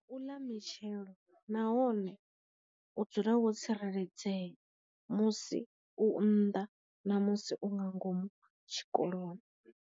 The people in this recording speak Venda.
U ḽa mitshelo nahone u dzula wo tsireledzea musi u nnḓa ṋamusi u nga ngomu tshikoloni.